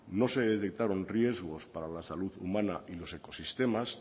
no se detectaron riesgos para la salud humana y los ecosistemas